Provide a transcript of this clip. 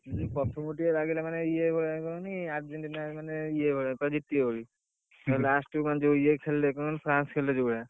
ଇଏ ପ୍ରଥମ ରୁ ଟିକେ ଲାଗିଲା ମାନେ ଇଏ ମାନେ କହନି ଆଜି ମାନେ ଜିତିବ ବୋଲି, last କୁ France ଖେଳିଲା ଯଉ ଭଳିଆ।